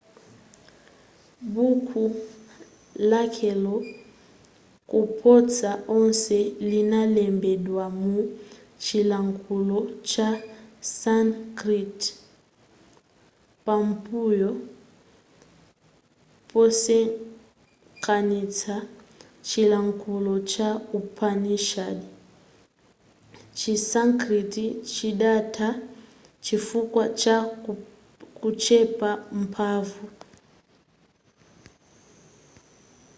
buko lakale koposa onse linalembedwa mu chilankhulo cha sanskrit pambuyo posonkhanista chilankhulo cha upanishads chi sanskrit chidatha chifukwa cha kuchepa mphanvu